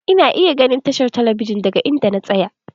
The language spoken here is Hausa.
Ina iya ganin tashar talabijin daga inda na tsaya.